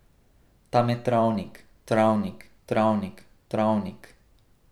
Tam je travnik, travnik, travnik, travnik ...